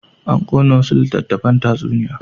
An ƙona wasu littattafan tatsuniya.